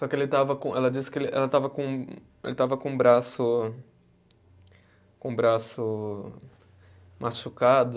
Só que ele estava com, ela disse que ele, ela estava com, ele estava com o braço, com o braço machucado.